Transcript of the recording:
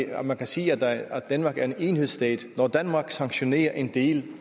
at man kan sige at danmark er en enhedsstat når danmark sanktionerer en del